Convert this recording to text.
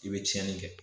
I bɛ tiɲɛni kɛ